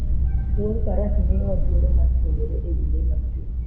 Wuodh Faras miyowa thuolo mar puonjore e wi le mag thim